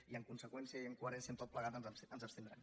i en conseqüència i en coherència amb tot plegat ens abstindrem